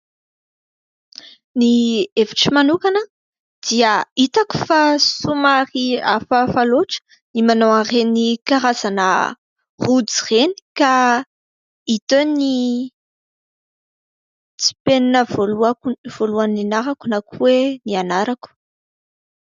Ny hevitro manokana dia hitako fa somary hafahafa loatra ny manao an' ireny karazana rojo ireny ka hita eo ny tsimpelina voalohany nianarako na ko hoe ny anarako.